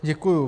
Děkuji.